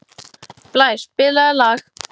Blær, spilaðu lag.